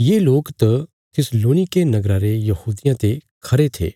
ये लोक त थिस्सलुनीके नगरा रे यहूदियां ते खरे थे